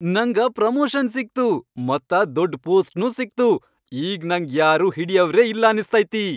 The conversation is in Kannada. ನಂಗ ಪ್ರಮೋಷನ್ ಸಿಕ್ತು ಮತ್ತ ದೊಡ್ಡ್ ಪೋಸ್ಟ್ನೂ ಸಿಕ್ತು, ಈಗ್ ನಂಗ್ ಯಾರೂ ಹಿಡಿಯವ್ರೇ ಇಲ್ಲ ಅನ್ನಸ್ತೈತಿ.